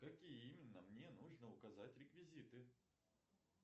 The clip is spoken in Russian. какие именно мне нужно указать реквизиты